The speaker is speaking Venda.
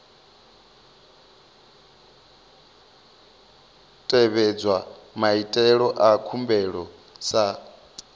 tevhedzwa maitele a khumbelo sa